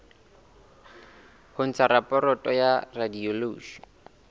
ho ntsha raporoto ya radiology